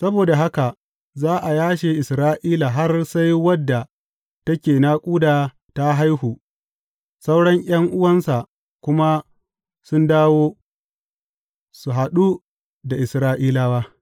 Saboda haka za a yashe Isra’ila har sai wadda take naƙuda ta haihu sauran ’yan’uwansa kuma sun dawo su haɗu da Isra’ilawa.